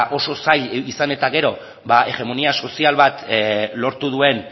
oso zail izan eta gero ba hegemonia sozial bat lortu duen